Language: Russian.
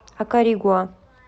акаригуа